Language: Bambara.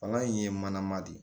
Palan in ye manama de ye